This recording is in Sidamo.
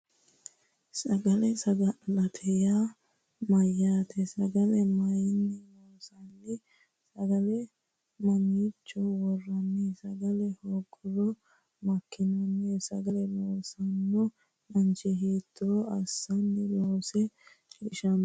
Sagale sagalete yaa mayyaate sagale mayinni loonsanni sagale mamiicho worranni sagale hoogguro makkinanni sagale loosanno mancho hiitto assine loonse shiqinshanni